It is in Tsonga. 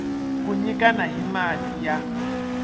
ku nyikana hi mati ya